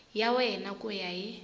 ya wena ku ya hi